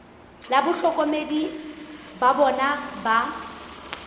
le bahlokomedi ba bona ba